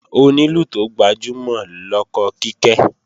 Onílù tó gbajúmọ̀ lọkọ Kíkẹ́